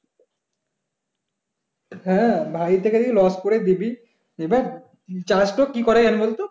হ্যাঁ ভারি থেকে loss করে দিবি এবার চাষ তো কি করে এখন বলতো